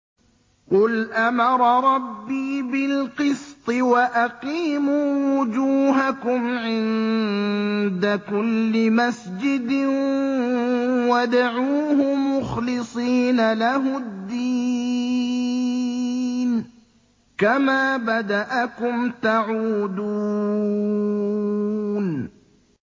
قُلْ أَمَرَ رَبِّي بِالْقِسْطِ ۖ وَأَقِيمُوا وُجُوهَكُمْ عِندَ كُلِّ مَسْجِدٍ وَادْعُوهُ مُخْلِصِينَ لَهُ الدِّينَ ۚ كَمَا بَدَأَكُمْ تَعُودُونَ